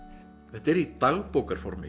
þetta er í